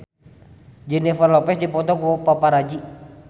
Jennifer Lopez dipoto ku paparazi